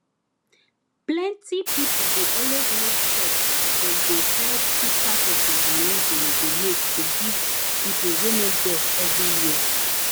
plenty people dey always make sure dem dey try kip part of di moni dem dey make to give pipo wey no get every year